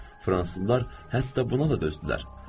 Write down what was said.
Fransızlar hətta buna da dözdülər.